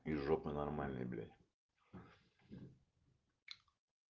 из жопы нормальной блять